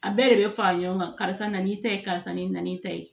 A bɛɛ de bɛ fara ɲɔgɔn kan karisa nan'i ta ye karisa nin nan'i ta ye